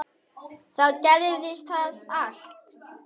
Þá gerðist allt.